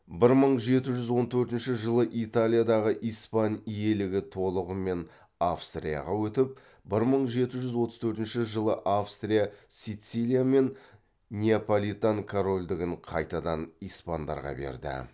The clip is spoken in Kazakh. бір мың жеті жүз он төртінші жылы италиядағы испан иелігі толығымен австрияға өтіп бір мың жеті жүз отыз төртінші жылы австрия сицилия мен неаполитан корольдігін қайтадан испандарға берді